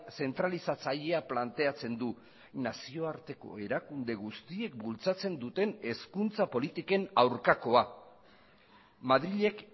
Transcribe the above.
zentralizatzailea planteatzen du nazioarteko erakunde guztiek bultzatzen duten hezkuntza politiken aurkakoa madrilek